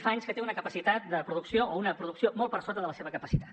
fa anys que té una capacitat de producció o una producció molt per sota de la seva capacitat